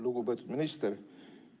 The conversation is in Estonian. Lugupeetud minister!